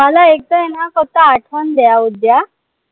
मला एकदा आहे न फक्त आठवण द्या उद्या